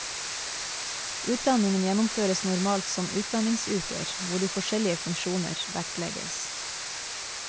Utdanningen gjennomføres normalt som utdanningsuker hvor de forskjellige funksjonen vektlegges.